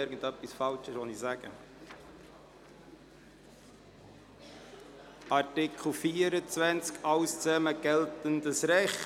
Artikel 24 fortfolgende entsprechen dem geltenden Recht.